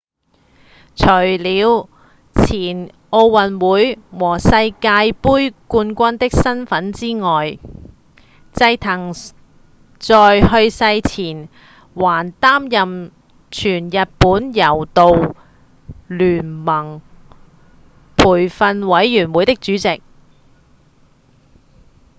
除了前奧運會和世界冠軍的身份之外齋藤在去世前還擔任全日本柔道連盟培訓委員會的主席